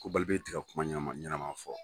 Ko Balibi tɛ ka kuma ɲanama ɲanama fɔ.